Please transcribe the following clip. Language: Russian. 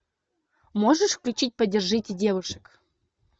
можешь включить поддержите девушек